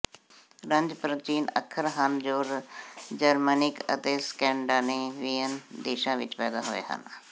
runes ਪ੍ਰਾਚੀਨ ਅੱਖਰ ਹਨ ਜੋ ਜਰਮਨਿਕ ਅਤੇ ਸਕੈਂਡੇਨੇਵੀਅਨ ਦੇਸ਼ਾਂ ਵਿੱਚ ਪੈਦਾ ਹੋਏ ਹਨ